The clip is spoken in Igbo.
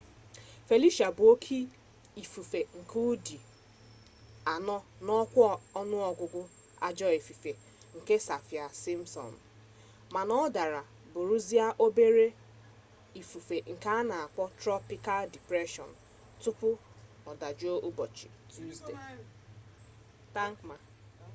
felicia bu bu oke ifufe nke udi 4 na okwa onuogugu ajo ifufe nke saffir-simpson mana o dara buruzia obere ifufe nke ana akpo tropikal depression tupu odajuo ubochi tuzdee